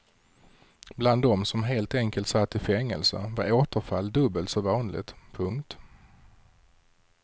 Bland dem som helt enkelt satt i fängelse var återfall dubbelt så vanligt. punkt